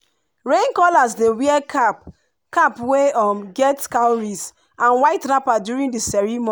rain callers dey wear cap cap wey um get cowries and white wrapper during the ceremo